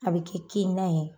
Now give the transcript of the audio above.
A be kɛ kini na ye